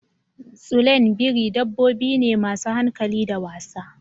Tsulain biri dabbobi ne masu hankali da wasa.